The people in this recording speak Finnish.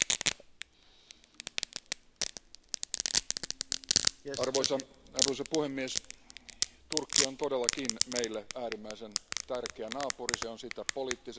Arvoisa puhemies, Turkki on todellakin meille äärimmäisen tärkeä naapuri, se on sitä poliittisesti, taloudellisesti ja myös kansalaisten kanssakäymisen kannalta.